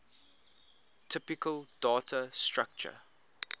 typical data structure